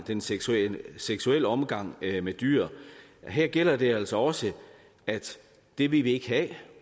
den seksuelle seksuelle omgang med dyr og her gælder det altså også at det vil vi ikke have